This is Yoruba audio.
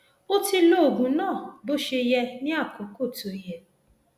o ti lo oògùn náà bó ṣe yẹ ní àkókò tó yẹ